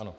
Ano.